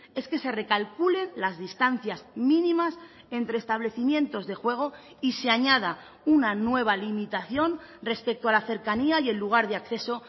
es que se recalculen las distancias mínimas entre establecimientos de juego y se añada una nueva limitación respecto a la cercanía y el lugar de acceso